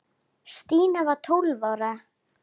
Stína var tólf ára.